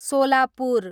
Solapur